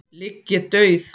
ligg ég dauð.